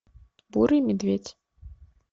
бурый медведь